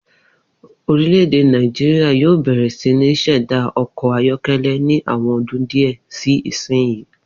Orílè̩-èdè Nàìjíríà yóò bè̩rè̩ sí ní s̩è̩dá o̩kò̩ ayó̩ké̩lé̩ ní àwo̩n o̩dún díè̩ sí ìsinyìí